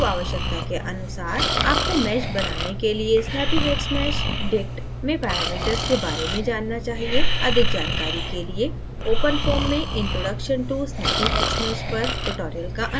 पूर्वआवश्यकता के अनुसार आपको mesh बनाने के लिए snappyhexmeshdict में parameters के बारे में जानना चाहिए अधिक जानकारी के लिए openfoam में introduction to snappyhexmesh पर ट्यूटोरियल का अनुकरण करें